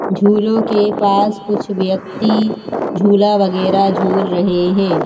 झूलों के पास कुछ व्यक्ति झूला वगैरह झूल रहे हैं।